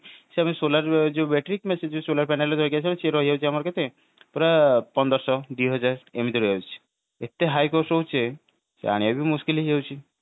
ସେମିତି solar ର ଯୋଉ battery କିମ୍ବା ସେ ଯୋଉ solar panel ଆସିଯାଉଛି ସେଗୁଡାକ ଆମ କେତେ ପୁରା ପନ୍ଦର ସହ ଦିହଜାର ଏମତି ଆସିଯାଉଛି ଏତେ high cost ରହୁଛି ଯେ ଆଣିବା ବି ମୁସ୍କିଲ ହେଇ ଯାଉଛି